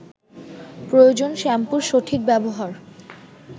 প্রয়োজন শ্যাম্পুর সঠিক ব্যবহার